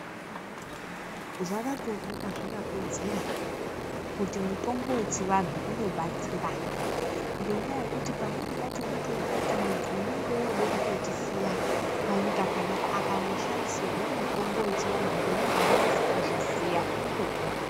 Zvakatooneka zvakakodzera kuti mutombo wechivantu unobatsira ngenyaya yekuti pamweni pacho unotoona kuti muntu unenge wooda kutotisiya panyika panapa akatoshandisirwa mutombo wechiantu ngemuntu unonyase kuuziya unotopona.